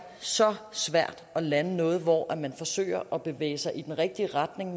så svært at lande noget hvor man forsøger at bevæge sig i den rigtige retning